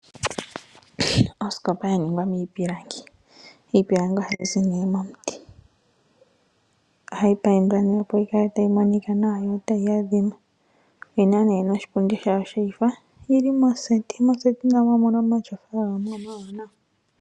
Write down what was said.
Osikopa ya ningwa miipilangi. Iipilangi ohayi zi nee momuti, ohayi paindwa opo yi kale tayi monika nawa, yo otayi adhima, yina nee noshipundi shawo sheyifa , yili moseti, moseti namo omuna omatyofa gamwe omawaanawa.